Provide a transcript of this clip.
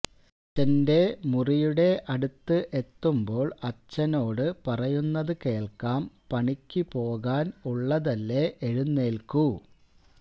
അച്ഛന്റെ മുറിയുടെ അടുത്ത് എത്തുമ്പോൾ അച്ഛനോട് പറയുന്നത് കേൾക്കാം പണിക്കു പോകാൻ ഉള്ളതല്ലേ എഴുന്നേൽക്കു